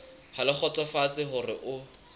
ha le kgotsofetse hore o